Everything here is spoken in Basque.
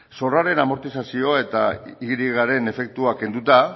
zorraren amortizazioa eta y ren efektua kenduta